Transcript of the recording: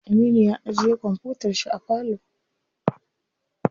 Aminu ya ajiye kwamfutar shi a falo.